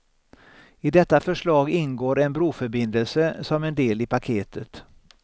I detta förslag ingår en broförbindelse som en del i paketet.